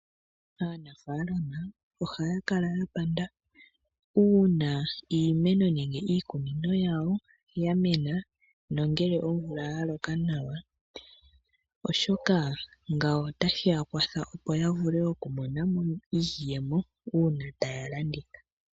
Aanafalama ohakala yapanda uuna iimeno nenge iikunino yawo yamena nongele omvula yaloka nawa ,oshoka ngawo otashi ya kwatha Opo yavule okumona iiyemo una taya landitha.